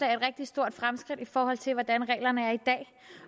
rigtig stort fremskridt i forhold til hvordan reglerne er i dag